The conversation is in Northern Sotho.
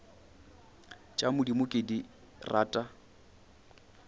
tša modimo ke di rata